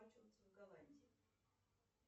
в голландии